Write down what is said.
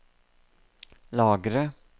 lagre